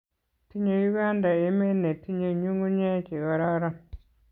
Tinyei Uganda emee ne tinye nyung'unye che kororon.